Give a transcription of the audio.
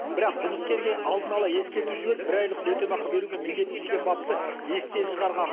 бірақ жұмыскерге алдын ала ескерту жіберіп бір айлық өтемақы беруге міндетті деген бапты естен шығарған